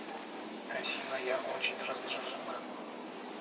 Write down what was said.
афина я очень раздражена